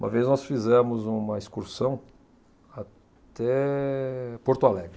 Uma vez nós fizemos uma excursão até Porto Alegre.